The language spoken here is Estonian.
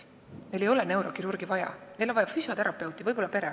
Tegelikult ei ole selleks neurokirurgi vaja, pigem oleks vaja füsioterapeuti, võib-olla ka pereõde.